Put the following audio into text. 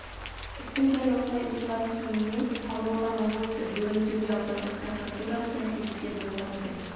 істің дәл осылай ушыға түсуіне талдықорған облысы бөрлітөбе аудандық прокуратурасы да себепкер болған екен